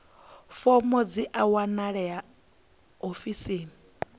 fomo dzi a wanalea ofisini